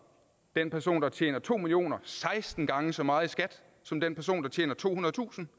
den person der tjener to million kr seksten gange så meget i skat som den person der tjener tohundredetusind